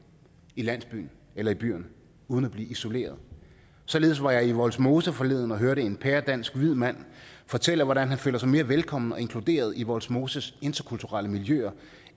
i landsbyen eller i byerne uden at blive isoleret således var jeg i vollsmose forleden og hørte en pæredansk hvid mand fortælle hvordan han føler sig mere velkommen og inkluderet i vollsmoses interkulturelle miljøer